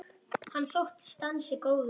Hann þóttist ansi góður.